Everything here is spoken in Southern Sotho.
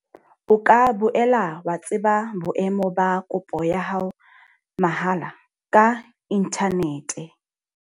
O ka boela wa tseba boemo ba kopo ya hao mahala ka inthanete.